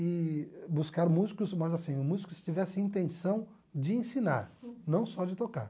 e buscar músicos, mas assim, músicos que tivessem intenção de ensinar, não só de tocar.